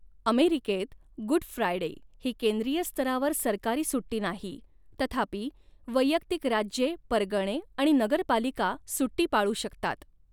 अमेरिकेत, Good Friday ही केंद्रीय स्तरावर सरकारी सुट्टी नाही, तथापि, वैयक्तिक राज्ये, परगणे आणि नगरपालिका सुट्टी पाळू शकतात.